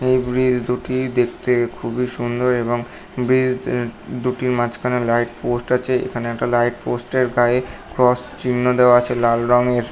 এই ব্রিজ দুটি দেখতে খুবই সুন্দর এবং ব্রীজ উম দুটির মাঝখানে লাইট পোষ্ট আছে। এখানে একটা লাইট পোস্ট -এর গায়ে ক্রস চিন্হ দেওয়া আছে লাল রঙের।